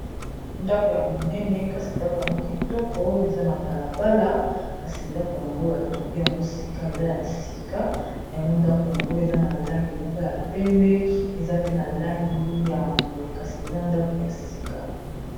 Ndako ya monene kasi ndako yango kitoko eza na balabala kasi ndako yango batongi yango sika eza ya sika yango ndako yango eza na langi moko ya pembe eza pe na langi ya mbwe kasi eza ndako ya sika.